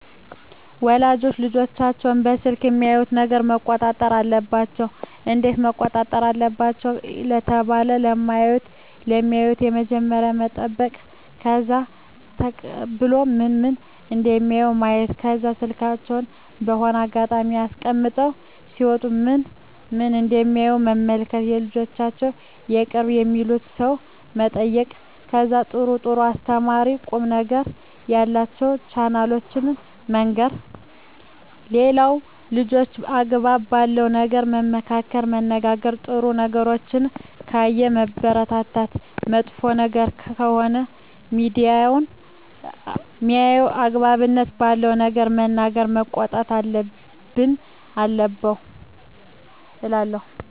ወላጆች ልጆቻቸውን ከስልኮች የሚያዩትን ነገረ መቆጣጠር አለባቸው እንዴት መቆጣጠር አለባቸው ለተባለው የማዩትን በመጀመሪያ መጠይቅ ከዛ ተቀብሎ ምን ምን እደሚያዩ ማየት ከዛ ስልካቸውን በሆነ አጋጣሚ አስቀምጠው ሲወጡ ምን ምን እደሚያዩ መመልከት የልጆቻቸውን የቅርብ የሚሉትን ሰው መጠየቅ ከዛ ጥሩ ጥሩ አስተማሪ ቁም ነገሮችን ያሉትን ቻናሎችን መንገር ሌላው ልጆችን አግባብ ባለው ነገር መመካከር መነጋገር ጥሩ ነገሮችን ካየ ማበረታታት መጥፎ ነገር ከሆነ ሜያየው አግባብነት ባለው ነገር መናገር መቆጣት አለብን እላለው